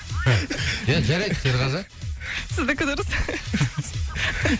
ия жарайды серғазы сіздікі дұрыс